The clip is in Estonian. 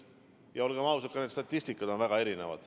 Ja olgem ausad, statistika on väga erinev.